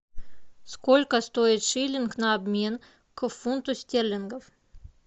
сколько стоит шиллинг на обмен к фунту стерлингов